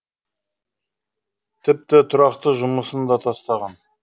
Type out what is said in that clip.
тіпті тұрақты жұмысын да тастаған